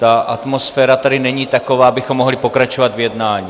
Ta atmosféra tady není taková, abychom mohli pokračovat v jednání.